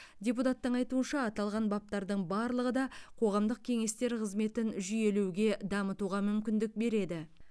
депутаттың айтуынша аталған баптардың барлығы да қоғамдық кеңестер қызметін жүйелеуге дамытуға мүмкіндік береді